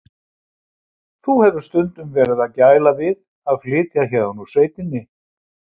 Þú hefur stundum verið að gæla við að flytja héðan úr sveitinni?